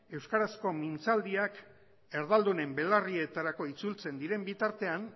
euskarazko mintzaldiak erdaldunen belarrietarako itzultzen diren bitartean